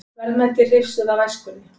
Verðmæti hrifsuð af æskunni